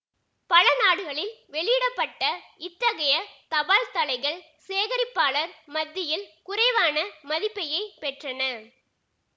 பல நாடுகளில் வெளியிட பட்ட இத்தகைய தபால்தலைகள் சேகரிப்பாளர் மத்தியில் குறைவான மதிப்பையே பெற்றன